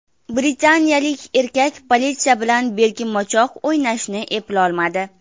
Britaniyalik erkak politsiya bilan bekinmachoq o‘ynashni eplolmadi .